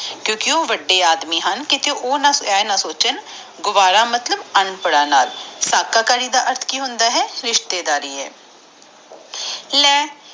ਕਿਉਕਿ ਉਹ ਵਾਦੇ ਆਦਮੀ ਆ ਕੀਤੇ ਓਘਹ ਇਹ ਨਾ ਸੋਚਾਂ ਕਿ ਗਾਵਾਰਾ ਮਤਲਬ ਅਨਪ੍ਰਦਾ ਨਾਲ ਧਗਾਕਾਰੀ ਦਾ ਮਤਲਬ ਹੁੰਦਾ ਰਿਸ਼ਤੇਦਾਰੀ ਲੀ ਇੰਦਰ ਕੌਰ ਆਪਣੇ ਮਾਨ ਚ ਬੋਲੀ